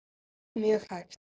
Mjög hægt.